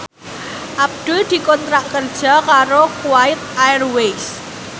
Abdul dikontrak kerja karo Kuwait Airways